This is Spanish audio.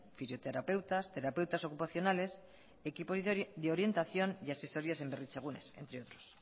fisioterapeutas terapeutas ocupacionales equipo de orientación y asesorías en berritzegunes entre otros